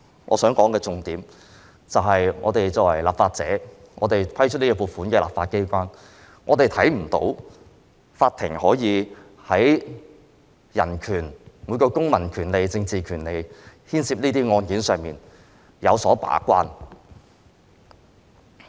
我想說的重點，就是我們作為立法者、負責審批這項撥款的立法機構成員，我們看不到法庭有為這些牽涉人權、公民及政治權利的案件把關。